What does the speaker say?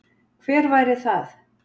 Hver væri það?